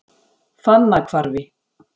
Fannahvarfi